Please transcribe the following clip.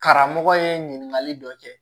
Karamɔgɔ ye ɲininkali dɔ kɛ